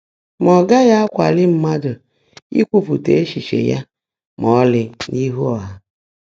mà ọ́ gághị́ ákwáalií mmádụ́ íkwuúpụ́tá échíché yá má ọ́lị́ n’íhú ọ́hà.